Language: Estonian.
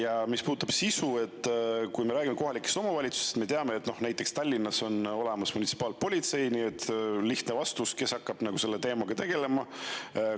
Ja mis puudutab sisu, siis kui me räägime kohalikest omavalitsustest, siis me teame, et Tallinnas on olemas munitsipaalpolitsei ja on lihtne vastus, kes konkreetselt hakkab selle teemaga tegelema: mupo.